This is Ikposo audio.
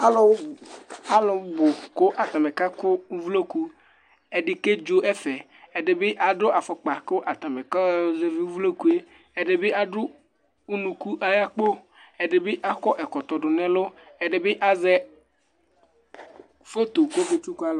alʊ bʊ dɩnɩ lanutɛ, atanɩ kakʊ ovloku, edɩ kedzo ɛfɛ, ɛdɩ adʊ ɛlɛnuti kʊ atanɩ kalu ovloku yɛ, ɛdɩ adʊ unuku ayʊ akpo, kʊ ɛdita akɔ ɛkɔtɔ, ɛdɩ bɩ azɛ ɛkʊ zɛ iyeye kʊ ɔkazɛ alʊ